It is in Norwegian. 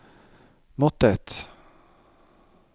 måttet